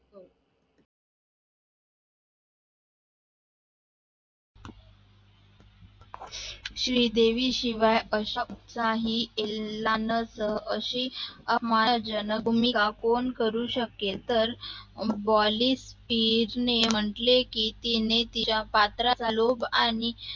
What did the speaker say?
श्री देवीशिव्या कश्याच्या ही लालच अशी महाजनक भूमिका कोण करू शकेल तर बॉलिश स्टीर ने म्हटले की तिने तिचा पत्राचा लोभ आणि